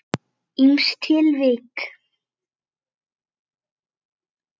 Ýmis tilvik.